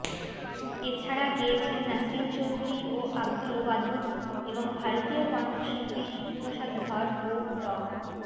এ ছাড়া গেয়েছেন নাসরিন চৌধুরী ও আব্দুল ওয়াদুদ এবং ভারতীয় কণ্ঠশিল্পী শিবপ্রসাদ ধর ও ড